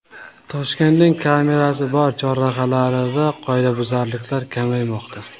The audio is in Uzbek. Toshkentning kamerasi bor chorrahalarida qoidabuzarliklar kamaymoqda.